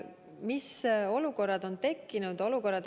Mis olukorrad on tekkinud?